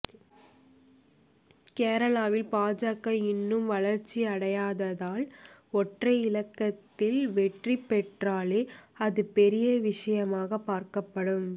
கேரளாவில் பாஜக இன்னும் வளர்ச்சி அடையாததால் ஒற்றை இலக்கத்தில் வெற்றி பெற்றாலே அது பெரிய விஷயமாக பார்க்கப்படும்